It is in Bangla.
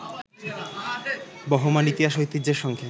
বহমান ইতিহাস-ঐতিহ্যের সঙ্গে